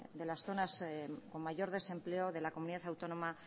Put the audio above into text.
de las zonas con mayor desempleo de la comunidad autónoma